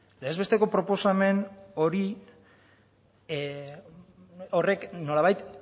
legez besteko proposamen horrek nolabait